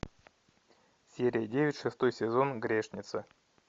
серия девять шестой сезон грешница